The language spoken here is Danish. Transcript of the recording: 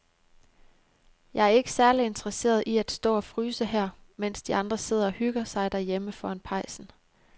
Jeg er ikke særlig interesseret i at stå og fryse her, mens de andre sidder og hygger sig derhjemme foran pejsen.